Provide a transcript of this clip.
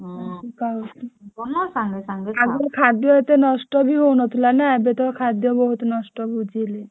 ଆଗରୁ ଖାଦ୍ୟ ଏତେ ନଷ୍ଟ ବି ହଉନଥିଲା ନା ଏବେତ ଖାଦ୍ୟ ବହୁତ ନଷ୍ଟ ହଉଛି ହେଲେ।